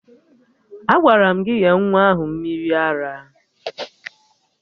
Agwara m gị nye nwa ahụ mmiri ara!